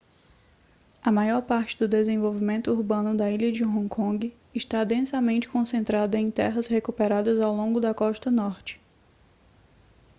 a maior parte do desenvolvimento urbano da ilha de hong kong está densamente concentrada em terras recuperadas ao longo da costa norte